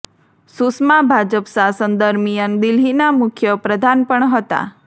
સુષ્મા ભાજપ શાસન દરમિયાન દિલ્હીના મુખ્ય પ્રધાન પણ હતા